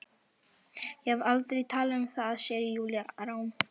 Ég hef aldrei talað um það, segir Júlía rám.